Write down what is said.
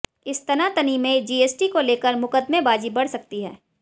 इस तनातनी में जीएसटी को लेकर मुकदमेबाज़ी बढ़ सकती है